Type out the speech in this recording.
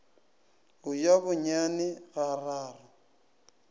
go ja bonyane ga raro